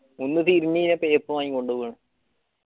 ഒന്ന് മായികൊണ്ടൊണ്